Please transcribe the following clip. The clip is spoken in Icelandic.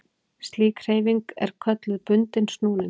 Slík hreyfing er kölluð bundinn snúningur.